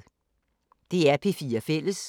DR P4 Fælles